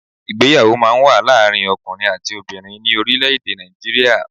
Ìgbéyàwó máa n wá láàrin ọkùnrin àti obìnrin ní orílẹ̀ èdè Nàìjíríà